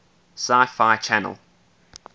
sci fi channel